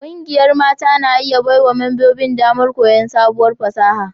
Ƙungiyar mata na iya baiwa membobin damar koyon sabuwar fasaha